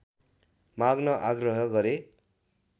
माग्न आग्रह गरे